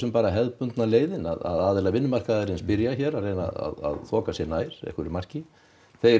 bara hefðbundna leiðin að aðilar vinnumarkaðarins byrja hér að reyna þoka sig nær einhverju marki þeir